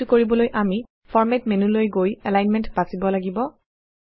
এইটো কৰিবলৈ আমি ফৰমাত মেন্যুলৈ গৈ এলাইনমেণ্ট বাচিব লাগিব